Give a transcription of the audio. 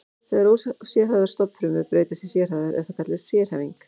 Þegar ósérhæfðar stofnfrumur breytast í sérhæfðar er það kallað sérhæfing.